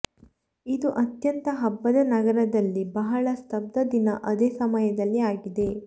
ಇದು ಅತ್ಯಂತ ಹಬ್ಬದ ನಗರದಲ್ಲಿ ಬಹಳ ಸ್ತಬ್ಧ ದಿನ ಅದೇ ಸಮಯದಲ್ಲಿ ಆಗಿದೆ